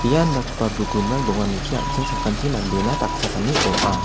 ia indakgipa bookroom-rang donganichi an·ching sakanti mandena dakchakani ong·a.